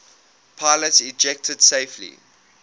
pilots ejected safely